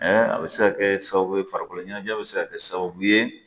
a bɛ se ka kɛ sababu ye farikolo ɲɛnajɛ bɛ se ka kɛ sababu ye